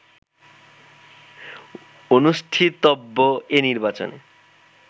অনুষ্ঠিতব্য এ নির্বাচনে